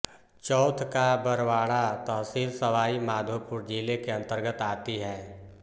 चौथ का बरवाड़ा तहसील सवाई माधोपुर जिले के अंतर्गत आती है